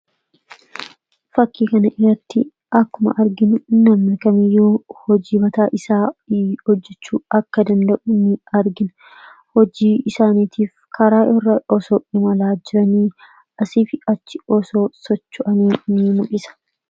Fakkii kana irratti akkuma arginu namni kamiyyuu hojii mataa isaa hojjechuu akka danda'u ni argina. Hojii isaaniitiif karaa irra osoo imalaa jiranii, asii fi achi osoo socho'anii ni mul'isa.